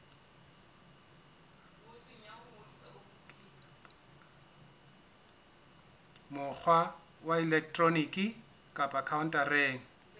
mokgwa wa elektroniki kapa khaontareng